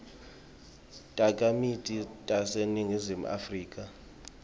takhamiti taseningizimu afrika